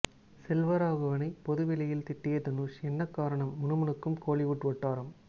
செல்வராகவனை பொது வெளியில் திட்டிய தனுஷ் என்ன காரணம் முனுமுனுக்கும் கோலிவுட் வட்டாரம்